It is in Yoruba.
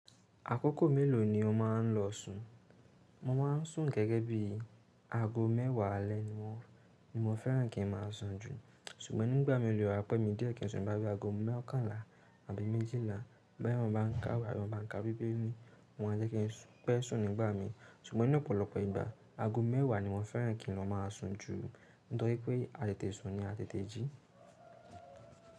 Àkókò mélòó ni o máa ń lọ sùn? Mo máa ń sùn gẹ́gẹ́ bí i ago mẹ́wàá alẹ́ wọn ni mo fẹ́ràn kí ń máa sùn jù. Ṣùgbọ́n nígbà mi o lè wà pẹ́ mi díẹ̀ kí n sùn bóyá bí i ago mokànlá àbí méjìlá bóyá mó bá ń ká'wé àbí mó bá ń ká bíbélì wọn jẹ́ kí n pẹ́ sùn nígbà mi. Ṣùgbọ́n ní ọ̀pọ̀lọpọ̀ ìgbà ago mẹ́wàá ni mo fẹ́ràn kí ń lọ máa sùn jù. Nitoripe a tètè sùn ni a tètè jí.